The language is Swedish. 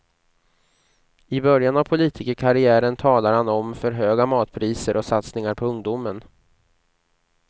I början av politikerkarriären talar han om för höga matpriser och satsningar på ungdomen.